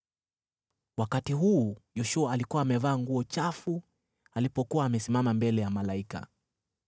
Wakati huu, Yoshua alikuwa amevaa nguo chafu alipokuwa amesimama mbele ya malaika.